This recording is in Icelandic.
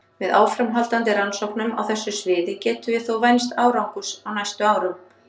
Með áframhaldandi rannsóknum á þessu sviði getum við þó vænst árangurs á næstu árum.